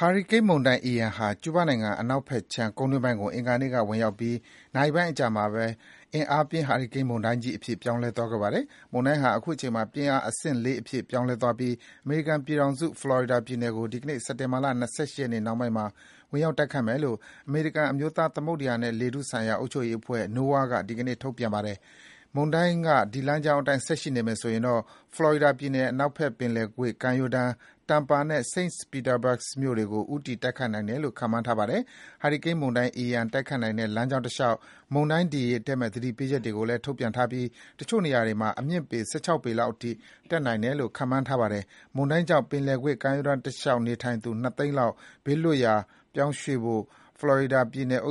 ဟာရီကိန်းမုန်တိုင်း Ian ဟာ ကျူးဘားနိုင်ငံအနောက်ဘက်ခြမ်း ကုန်းတွင်းပိုင်းကို အင်္ဂါနေ့ကဝင်ရောက်ပြီး နာရီပိုင်းအကြာမှာပဲ အင်အားပြင်းဟာရီကိန်းမုန်တိုင်းကြီးအဖြစ် ပြောင်းလဲသွားခဲ့ပါတယ်။ မုန်တိုင်းဟာ အခုချိန်မှာ ပြင်းအားအဆင့် ၄ အဖြစ် ပြောင်းလဲသွားပြီဖြစ်ပြီး အမေရိကန်ပြည်ထောင်စု၊ ဖလော်ရီဒါပြည်နယ်ကို ဒီကနေ့ စက်တင်ဘာ ၂၈ ရက်နေ့နှောင်းပိုင်းမှာ ဝင်ရောက်တိုက်ခတ်မယ်လို့ အမေရိကန်အမျိုးသား သမုဒ္ဒရာနဲ့ လေထုဆိုင်ရာအုပ်ချုပ်ရေးအဖွဲ့ NOAA က ဒီကနေ့ ထုတ်ပြန်ပါတယ်။ မုန်တိုင်းက ဒီလမ်းကြောင်းအတိုင်းဆက်ရှိနေမယ်ဆိုရင်တော့ ဖလော်ရီဒါပြည် နယ် အနောက်ဘက်ပင်လယ်ကွေ့ကမ်းရိုးတန်း Tampa နဲ့ St. Petersburg မြို့တွေကို ဦးတည်တိုက်ခတ်နိုင်တယ်လို့ ခန့်မှန်းထားပါတယ်။ ဟာရီကိန်းမုန်တိုင်း Ian တိုက်ခတ်နိုင်တဲ့လမ်းကြောင်းတလျှောက် မုန်တိုင်း ဒီရေတက်မယ့် သတိပေးချက်တွေကိုလည်း ထုတ်ပြန်ထားပြီး တချို့နေရာတွေမှာ အမြင့်ပေ ၁၆ ပေလောက်အထိ တက်နိုင်တယ်လို့ ခန့်မှန်းထားပါတယ်။ မုန်တိုင်းကြောင့် ပင်လယ်ကွေ့ ကမ်းရိုးတန်းတလျှောက်နေထိုင်သူ ၂ သိန်းလောက် ဘေးလွတ်ရာရွှေ့ပြောင်းဖို့ ဖလော်ရီဒါပြည်နယ်